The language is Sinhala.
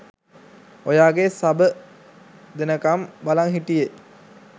ඔයාගේ සබ දෙනකම් බලන් හිටියේ